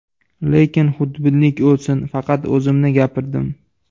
Lekin xudbinlik o‘lsin, faqat o‘zimni gapirdim.